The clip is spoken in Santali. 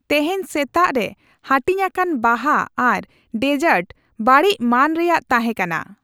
ᱛᱮᱦᱮᱧ ᱥᱮᱛᱟᱜ ᱨᱮ ᱦᱟᱹᱴᱤᱧᱟᱠᱟᱱ ᱵᱟᱦᱟ ᱟᱨ ᱰᱮᱡᱟᱨᱴ ᱵᱟᱹᱲᱤᱡ ᱢᱟᱹᱱ ᱨᱮᱭᱟᱜ ᱛᱟᱦᱮᱸᱠᱟᱱᱟ ᱾